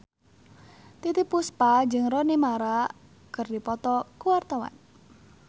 Titiek Puspa jeung Rooney Mara keur dipoto ku wartawan